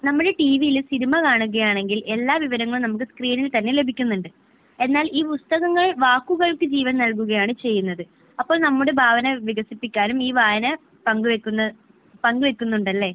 നമ്മുടെ TV യിൽ സിൽമ കാണുകയാണെങ്കിൽ എല്ലാ വിവരങ്ങളും നമുക്ക് സ്‌ക്രീനിൽ തന്നെ ലഭിക്കുന്നുണ്ട്. എന്നാൽ ഈ പുസ്തകങ്ങൾ വാക്കുകൾക്ക് ജീവൻ നൽകുകയാണ് ചെയ്യുന്നത്. അപ്പോൾ നമ്മുടെ ഭാവന വികസിപ്പിക്കാനും ഈ വായന പങ്ക് വെക്കുന്ന പങ്ക് വെക്കുന്നുണ്ടല്ലേ?